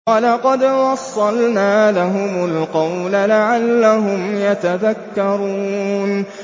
۞ وَلَقَدْ وَصَّلْنَا لَهُمُ الْقَوْلَ لَعَلَّهُمْ يَتَذَكَّرُونَ